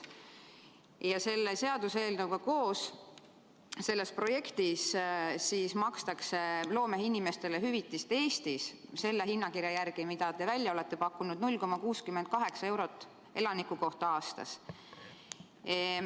Selle seaduseelnõuga koos välja pakutud projekti järgi makstakse Eestis loomeinimestele hüvitist teie hinnakirja järgi 0,68 eurot elaniku kohta aastas.